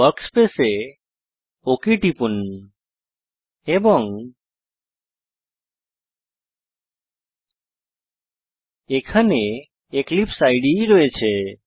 ওয়ার্কস্পেসে okay টিপুন এবং এখানে এক্লিপসে ইদে রয়েছে